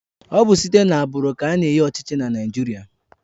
Ọ bụ site na agbụrụ ka ana-enye ọchịchị na Naịjirịa